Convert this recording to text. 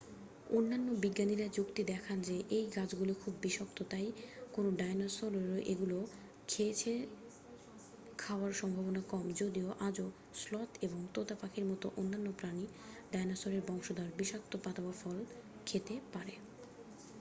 অন্যান্য বিজ্ঞানীরা যুক্তি দেখান যে এই গাছগুলি খুব বিষাক্ত তাই কোনও ডাইনোসরের এগুলো খেয়েছে খাওয়ার সম্ভাবনা কম যদিও আজও স্লথ এবং তোতা পাখির মতো অন্যান্য প্রাণী ডাইনোসরের বংশধর বিষাক্ত পাতা বা ফল খেতে পারে।